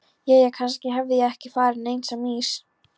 Jæja, kannski hafði ég ekki farið neins á mis.